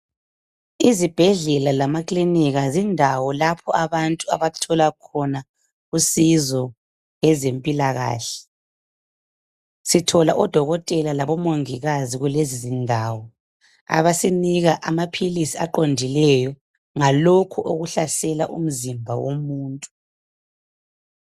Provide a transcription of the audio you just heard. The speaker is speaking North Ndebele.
Izibhedlela lamaklinika zindawo lapho abantu abathola khona usizo ngezempilakahle. Sithola o Dokotela labo Mongikazi kulezi zindawo . Abasinika amaphilisi aqondileyo ngalokho okuhlasela umzimba womuntu.